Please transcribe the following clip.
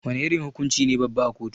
Wana irin hukunci ne babba a kotu?